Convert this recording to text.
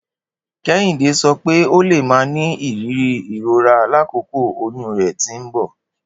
Kehinde sọ pe o le ma ni iriri irora lakoko oyun rẹ ti nbọ.